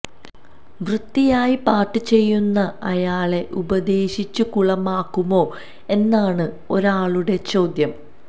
വൃത്തിയായി പാട്ട് ചെയ്യുന്ന അയാളെ ഉപദേശിച്ചു കുളമാക്കുമോ എന്നാണ് ഒരാളുടെ ചോദ്യം